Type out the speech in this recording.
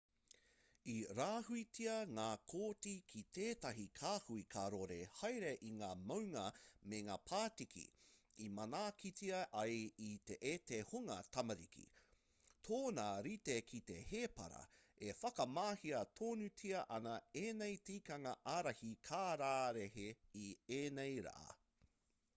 i rāhuitia ngā koti ki tētahi kāhui karore haere i ngā maunga me ngā pātiki i manaakitia ai e te hunga tamariki tōna rite ki te hēpara e whakamahia tonutia ana ēnei tikanga ārahi kararehe i ēnei rā